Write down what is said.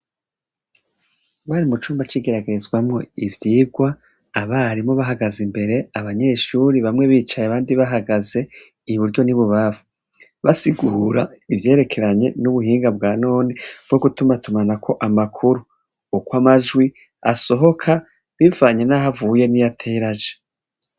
Bari mu cumba cigeragerezwamwo ivyirwa abarimo bahagaze imbere abanyeshuri bamwe bicaye abandi bahagaze iyi buryo nibubavu basigura ivyerekeranye n'ubuhinga bwa none bwo gutumatumanako amakuru uko amajwi asohoka bivanye, naho avuye niyo ateya raja.